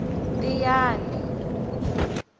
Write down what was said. tiyani